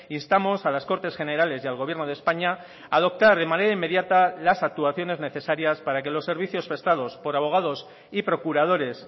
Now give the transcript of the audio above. instamos a las cortes generales y al gobierno de españa adoptar de manera inmediata las actuaciones necesarias para que los servicios prestados por abogados y procuradores